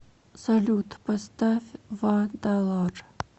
салют поставь вадалар